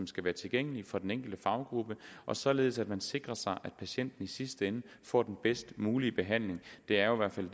skal være tilgængelige for den enkelte faggruppe således at man sikrer sig at patienten i sidste ende får den bedst mulige behandling det er jo i hvert fald